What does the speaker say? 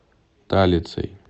талицей